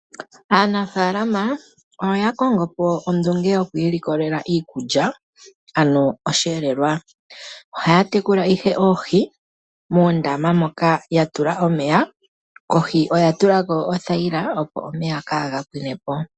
Aanafaalama oya kongo po ondunge yoku ilikolela iikulya ano osheelelwa. Ohaya tekula ihe oohi muundama moka ya tula omeya kohi oya tula ko oothaila, opo omeya kaaga pwine po.